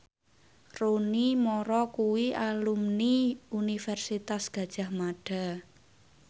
Rooney Mara kuwi alumni Universitas Gadjah Mada